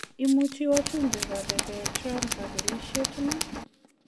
Imuchi wajumbe korebe Trump kabelisiet iman?